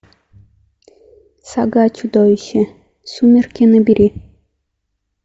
сага о чудовище сумерки набери